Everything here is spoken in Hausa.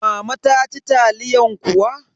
Mama ta ci taliyan kuwa?